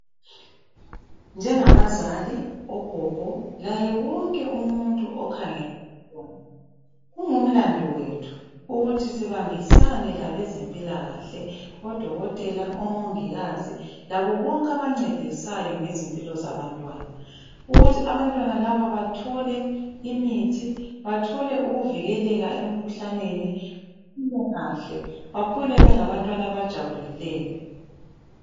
Njengabazali ogogo laye wonke umuntu okhangeleyo kungumlando wethu ukuthi sibambisane labezempilakahle odokotela omongikazi labo bonke abancedisayo ngezimpilo zabantwana. Ukuthi bantwana laba bathole imithi bathole ukuvikeleka emkhuhlaneni baphile kahle bakhule bengabantwana abajabulileyo.